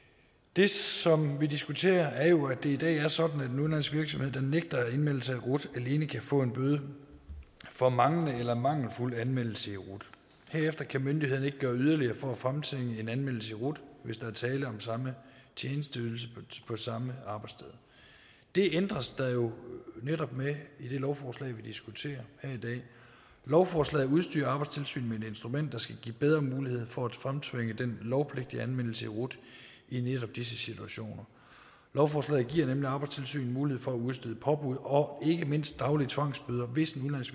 det som vi diskuterer er jo at det i dag er sådan at en udenlandsk virksomhed der nægter at indmelde sig i rut alene kan få en bøde for manglende eller mangelfuld anmeldelse i rut herefter kan myndighederne ikke gøre yderligere for at fremtvinge en anmeldelse i rut hvis der er tale om samme tjenesteydelse på samme arbejdssted det ændres der jo netop ved i det lovforslag vi diskuterer her i dag lovforslaget udstyrer arbejdstilsynet med et instrument der skal give bedre mulighed for at fremtvinge den lovpligtige anmeldelse i rut i netop disse situationer lovforslaget giver nemlig arbejdstilsynet mulighed for at udstede påbud og ikke mindst daglige tvangsbøder hvis en